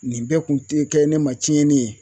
Nin bɛɛ kun tɛ kɛ ne ma tiɲɛni ye